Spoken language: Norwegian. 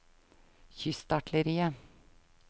kystartilleriet